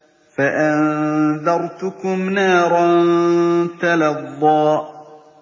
فَأَنذَرْتُكُمْ نَارًا تَلَظَّىٰ